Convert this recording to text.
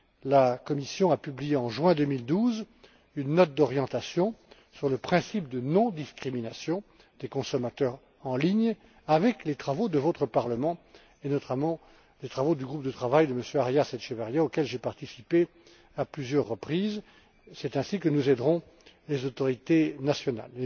La Commission a publié, en juin 2012, une note d'orientation sur le principe de non discrimination des consommateurs en ligne sur la base des travaux de votre Parlement et, notamment, du groupe de travail de M. Arias Echeverría, auxquels j'ai participé à plusieurs reprises. C'est ainsi que nous aiderons les autorités nationales.